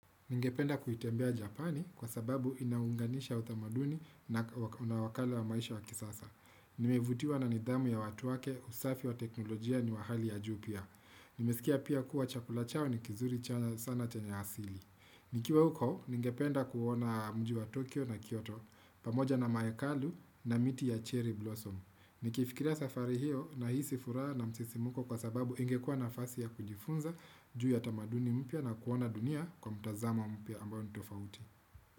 Ningependa kuitembea Japani kwa sababu inaunganisha utamaduni na una wakala wa maisha wa kisasa. Nimevutiwa na nidhamu ya watu wake usafi wa teknolojia ni wa hali ya juu pia. Nimesikia pia kuwa chakula chao ni kizuri sana chenye asili. Nikiwa huko, ningependa kuona mji wa Tokyo na Kyoto, pamoja na mahekalu na miti ya cherry blossom. Nikiifikira safari hiyo nahisi furaha na msisimuko kwa sababu ingekua nafasi ya kujifunza, juu ya tamaduni mpya na kuona dunia kwa mtazama mpya ambayo ni tofauti.